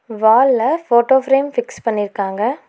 வால்ல photo frame fix பண்ணிருக்காங்க.